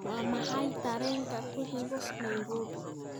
waa maxay tareenka ku xiga nairobi